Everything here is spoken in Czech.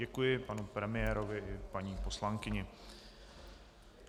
Děkuji panu premiérovi i paní poslankyni.